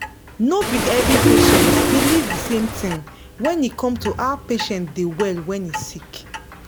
no be every patient believe de same thing when e come to how person da well when e sick